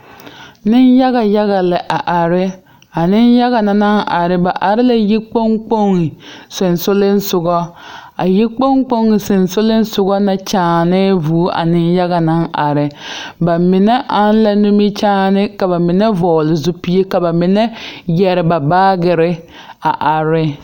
Nenyaga yaga la a are a nenyaga na naŋ are ba are la yikpoŋ kpoŋ sensoglesoga a yikpoŋ kpoŋ sensoglesoga na kyããnɛɛ vūū a nenyaga naŋ are ba mine are la nimikyaane ka ba mine vɔgle zupile ka ba mine yɛre ba baagere a are ne.